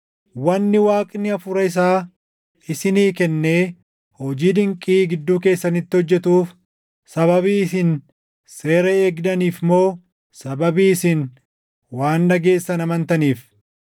Wanni Waaqni Hafuura isaa isinii kennee hojii dinqii gidduu keessanitti hojjetuuf sababii isin seera eegdaniif moo sababii isin waan dhageessan amantaniif?